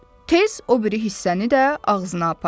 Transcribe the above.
Tez o biri hissəni də ağzına apardı.